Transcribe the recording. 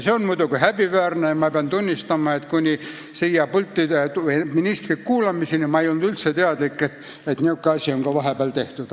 See on muidugi häbiväärne ja ma pean tunnistama, et kuni ministri kuulamiseni ma ei olnud üldse teadlik, et säärane asi on vahepeal tehtud.